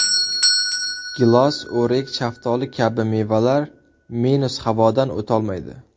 Gilos, o‘rik, shaftoli kabi mevalar minus havodan o‘tolmaydi.